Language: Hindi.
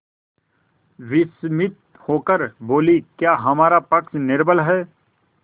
विस्मित होकर बोलीक्या हमारा पक्ष निर्बल है